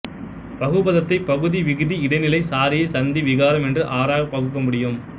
பகுபதத்தை பகுதி விகுதி இடைநிலை சாரியை சந்தி விகாரம் என்ற ஆறாகப் பகுக்க முடியும்